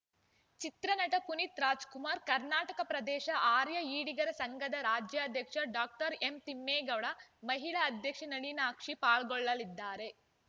ಚಿತ್ರನಟ ಪುನೀತ್‌ರಾಜ್‌ಕುಮಾರ್‌ ಕರ್ನಾಟಕ ಪ್ರದೇಶ ಆರ್ಯ ಈಡಿಗರ ಸಂಘದ ರಾಜ್ಯಧ್ಯಕ್ಷ ಡಾಕ್ಟರ್ ಎಂತಿಮ್ಮೇಗೌಡ ಮಹಿಳಾ ಅಧ್ಯಕ್ಷೆ ನಳಿನಾಕ್ಷಿ ಪಾಲ್ಗೊಳ್ಳಲಿದ್ದಾರೆ